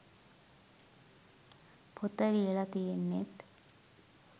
පොත ලියලා තියෙන්නෙත්